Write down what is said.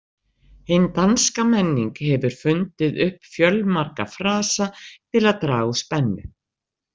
Hin danska menning hefur fundið upp fjölmarga frasa til að draga úr spennu.